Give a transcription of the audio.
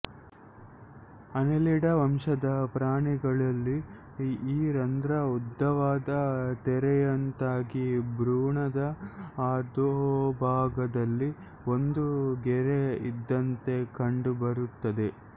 ಆನೆಲಿಡ ವಂಶದ ಪ್ರಾಣಿಗಳಲ್ಲಿ ಈ ರಂಧ್ರ ಉದ್ದವಾದ ತೆರೆಯಂತಾಗಿ ಭ್ರೂಣದ ಅಧೋಭಾಗದಲ್ಲಿ ಒಂದು ಗೆರೆ ಇದ್ದಂತೆ ಕಂಡುಬರುತ್ತದೆ